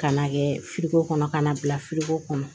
Ka n'a kɛ kɔnɔ ka na bila kɔnɔ